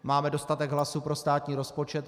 Máme dostatek hlasů pro státní rozpočet.